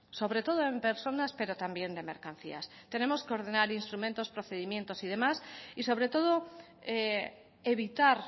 sobre todo en personas pero también de mercancías tenemos que ordenar instrumentos procedimientos y demás y sobre todo evitar